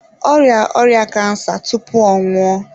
Ọ rịa ọrịa kansa tupu ọ nwụọ.